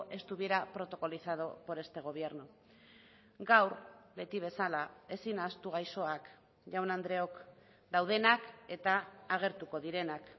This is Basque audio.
estuviera protocolizado por este gobierno gaur beti bezala ezin ahaztu gaixoak jaun andreok daudenak eta agertuko direnak